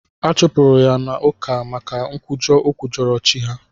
Achụpụrụ ya n'ụka maka nkwujọ o kwujọrọ chi ha.